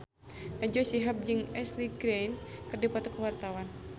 Najwa Shihab jeung Ashley Greene keur dipoto ku wartawan